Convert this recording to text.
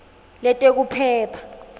letekuphepha